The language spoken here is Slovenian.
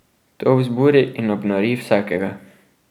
To vzburi in obnori vsakega.